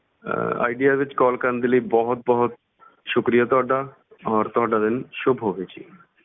ਅਹ Idea ਵਿੱਚ call ਕਰਨ ਦੇ ਲਈ ਬਹੁਤ ਬਹੁਤ ਸ਼ੁਕਰੀਆ ਤੁਹਾਡਾ ਔਰ ਤੁਹਾਡਾ ਦਿਨ ਸੁੱਭ ਹੋਵੇ ਜੀ।